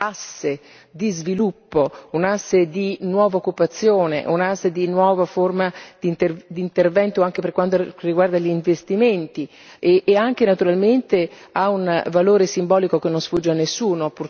asse di sviluppo, un asse di nuova occupazione, un asse di nuova forma di intervento anche per quanto riguarda gli investimenti e anche, naturalmente, ha un valore simbolico che non sfugge a nessuno.